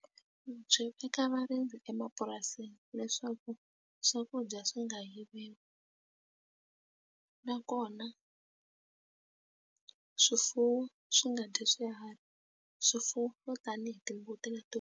Byi veka varindzi emapurasini leswaku swakudya swi nga yiviwi nakona swifuwo swi nga dyi swiharhi swifuwo swo tani hi timbuti leti.